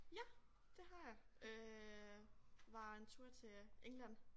Ja det har jeg øh var en tur til øh England